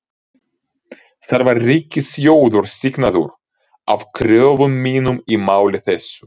Þar var ríkissjóður sýknaður af kröfum mínum í máli þessu.